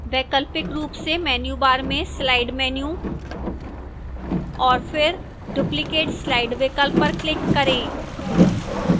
वैकल्पिक रूप से menu bar में slide menu और फिर duplicate slide विकल्प पर click करें